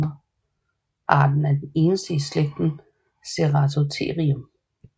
Arten er den eneste i slægten Ceratotherium